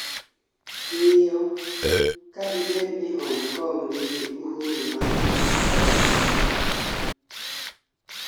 ng'iyo ka dibed ni Hong Kong nigi uhuru ma roml